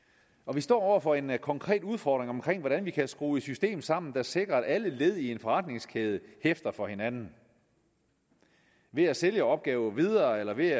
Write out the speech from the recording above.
vi står over for en en konkret udfordring om hvordan vi kan skrue et system sammen der sikrer at alle led i en forretningskæde hæfter for hinanden ved at sælge opgaver videre eller ved